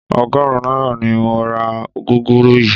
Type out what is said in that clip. Ọgọ́rùn-ún náírà ni mo ra gúgúrú yìí